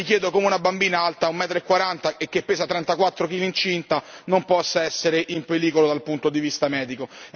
E mi chiedo, come una bambina alta 1 metro e 40 e che pesa 34 kg incinta non possa essere in pericolo dal punto di vista medico.